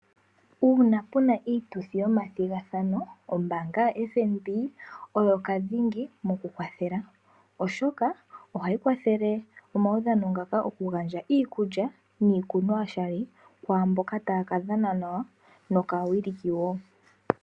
Uuna puna iituthi yomathigathano, ombaanga yo FNB oyo dhingi mo ku kwathela, oshoka oha yi kwathele omaudhano ngaka oku gandja iikulya niikunwa yoshali kwaaamboka taya ka dhana nawa, nokaa wiliki woo.